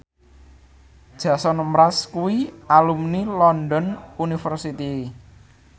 Jason Mraz kuwi alumni London University